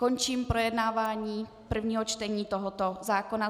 Končím projednávání prvního čtení tohoto zákona.